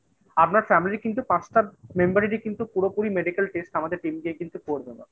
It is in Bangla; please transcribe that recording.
আপনার family কিন্তু পাঁচটা member এরই কিন্তু পুরোপুরি medical test আমাদের team গিয়ে কিন্তু করবে mam